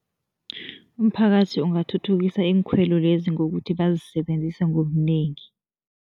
Umphakathi ungathuthukisa iinkhwelo lezi ngokuthi bazisebenzise ngobunengi.